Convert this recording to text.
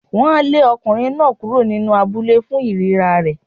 Wọ́n á lé ọkùnrin náà kúrò nínú abúlé fún ìríra rẹ̀.